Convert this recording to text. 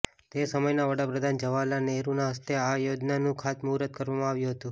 તે સમયના વડાપ્રધાન જવાહરલાલ નહેરુના હસ્તે આ યોજનાનું ખાતમુર્હુત કરવામાં આવ્યું હતું